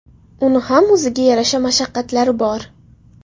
Uni ham o‘ziga yarasha mashaqqatlari bor.